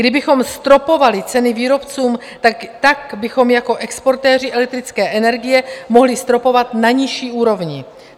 Kdybychom stropovali ceny výrobcům, tak bychom jako exportéři elektrické energie mohli stropovat na nižší úrovni.